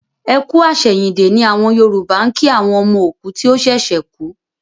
Ẹ kú àsẹ̀yìndè ni àwọn Yòrùbá ń kí àwọn ọmọ òkú tí ó ṣẹ̀ṣẹ̀ kú